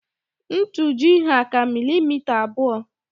Ntuji' hà ka milimita abụọ